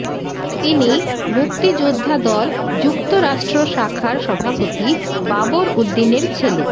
তিনি মুক্তিযোদ্ধা দল যুক্তরাষ্ট্র শাখার সভাপতি বাবর উদ্দিনের ছেলে